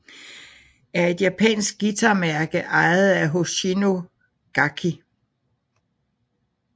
er et japansk guitarmærke ejet af Hoshino Gakki